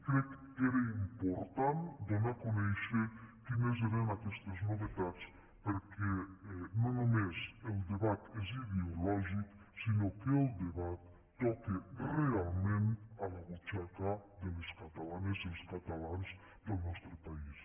crec que era important donar a conèixer quines eren aquestes novetats perquè no només el debat és ideològic sinó que el debat toca realment la butxaca de les catalanes i els catalans del nostre país